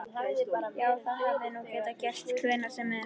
Já, það hefði nú getað gerst hvenær sem er.